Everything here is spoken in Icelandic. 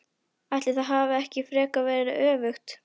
Ætli það hafi ekki frekar verið öfugt!